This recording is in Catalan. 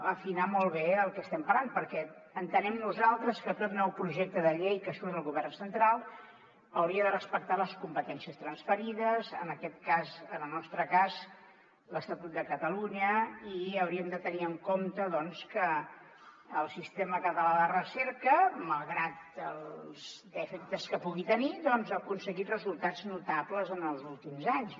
afinar molt bé del que estem parlant perquè entenem nosaltres que tot nou projecte de llei que surt del govern central hauria de respectar les competències transferides en aquest cas en el nostre cas l’estatut de catalunya i haurien de tenir en compte doncs que el sistema català de recerca malgrat els defectes que pugui tenir ha aconseguit resultats notables en els últims anys